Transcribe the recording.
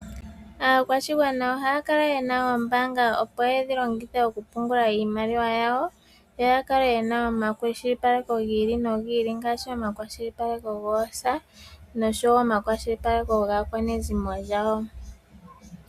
Aakwashigwana ohaya kala ye na oombanga opo yedhi longithe okupungula iimaliwa yawo, yo ya kale ye na omwakwashilipaleko gi ili nogi ili ngaashi omakwashilipaleko goosa nosho wo omakwashilipaleko gaakwanezimo lyawo.